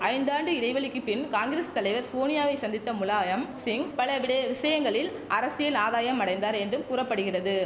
ஐந்தாண்டு இடைவெளிக்கிப் பின் காங்கிரஸ் தலைவர் சோனியாவை சந்தித்த முலாயம் சிங் பல விடு விஷயங்களில் அரசியல் ஆதாயம் அடைந்தார் என்றும் கூற படுகிறது